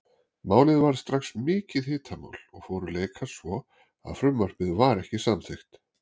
Málið varð strax mikið hitamál og fóru leikar svo að frumvarpið var ekki samþykkt.